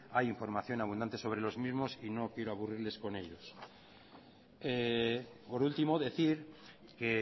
hay información abundante sobre los mismos y no quiero aburrirles con ello por último decir que